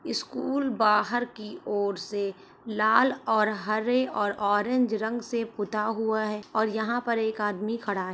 School बाहर की ओर से लाल और हरे और ऑरेंज रंग से पुता हुआ है और यहां पर एक आदमी खड़ा है।